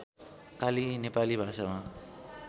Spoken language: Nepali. काली नेपाली भाषामा